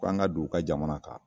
K' an ka don u ka jamana kan